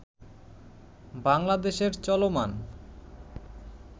বাংলাদেশের চলমান